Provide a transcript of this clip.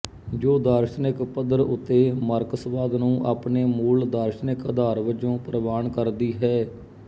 ਜੋ ਦਾਰਸ਼ਨਿਕ ਪੱਧਰ ਉਤੇ ਮਾਰਕਸਵਾਦ ਨੂੰ ਆਪਣੇ ਮੂਲ ਦਾਰਸ਼ਨਿਕ ਅਧਾਰ ਵਜੋਂ ਪ੍ਰਵਾਨ ਕਰਦੀ ਹੈ